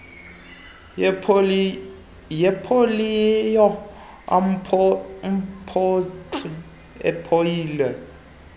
yepoliyo amathontsi epoliyo